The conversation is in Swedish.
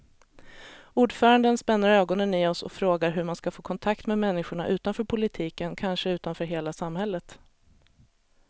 Ordföranden spänner ögonen i oss och frågar hur man ska få kontakt med människorna utanför politiken, kanske utanför hela samhället.